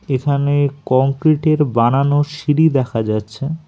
এখানে কংক্রিটের বানানো সিঁড়ি দেখা যাচ্ছে।